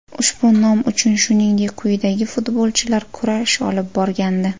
Ushbu nom uchun shuningdek quyidagi futbolchilar kurash olib borgandi.